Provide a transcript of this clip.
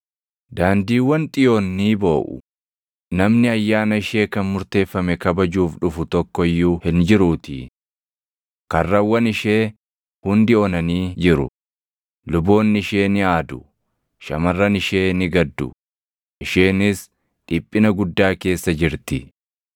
Daandiiwwan Xiyoon ni booʼu; namni ayyaana ishee kan murteeffame kabajuuf dhufu // tokko iyyuu hin jiruutii. Karrawwan ishee hundi onanii jiru; luboonni ishee ni aadu; shamarran ishee ni gaddu, isheenis dhiphina guddaa keessa jirti.